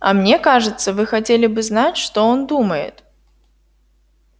а мне кажется вы хотели бы знать что он думает